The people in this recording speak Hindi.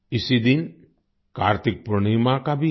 इसी दिन कार्तिक पूर्णिमा का भी है